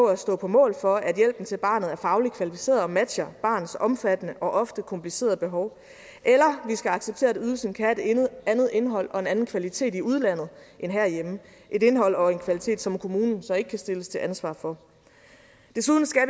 at stå på mål for at hjælpen til barnet er fagligt kvalificeret og matcher barnets omfattende og ofte komplicerede behov eller vi skal acceptere at ydelsen kan have et andet indhold og en anden kvalitet i udlandet end herhjemme et indhold og en kvalitet som kommunen så ikke kan stilles til ansvar for desuden skal